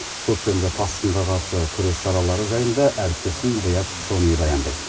көктемгі тасқынға қарсы күрес шаралары жайында әріптесім риат шони баяндайды